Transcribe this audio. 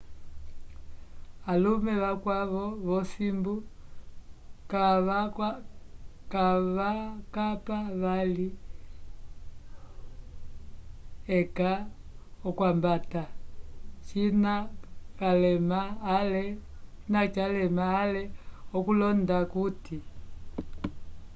alume vakwavo vo simbu ka vakapa vali eka okwambata cina calema ale okulonda kuti